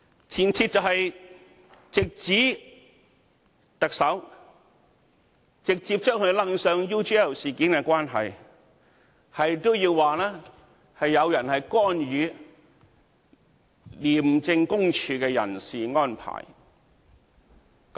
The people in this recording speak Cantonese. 前設就是直指特首，直接將他扯上 UGL 事件的關係，直指有人干預廉政公署的人事安排。